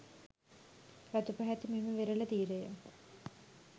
රතුපැහැති මෙම වෙරළ තීරය